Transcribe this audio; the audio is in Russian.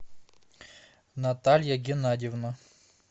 наталья геннадьевна